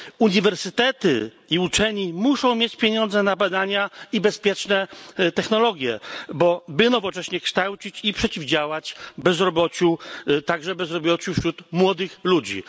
Uniwersytety i naukowcy muszą mieć pieniądze na badania i bezpieczne technologie, aby nowocześnie kształcić i przeciwdziałać bezrobociu, także bezrobociu wśród młodych ludzi.